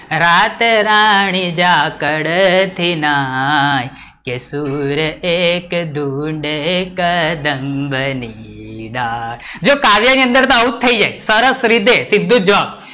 રાતરાણી જ્યાં કડતી નાય કે તુર એક ઢૂંઢે કદમ ની ડાળ, જો કાવ્ય ની અંદર આવું જ થઇ જાય સરસ રીતે, સીધો જ જવાબ